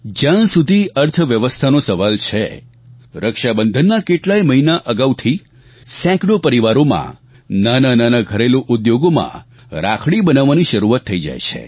જ્યાં સુધી અર્થવ્યવસ્થાનો સવાલ છે રક્ષાબંધનના કેટલાય મહિના અગાઉથી સેંકડો પરિવારોમાં નાનાનાનાં ઘરેલુ ઉદ્યોગોમાં રાખડી બનાવવાની શરૂઆત થઈ જાય છે